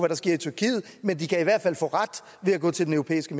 der sker i tyrkiet men man kan i hvert fald få ret ved at gå til den europæiske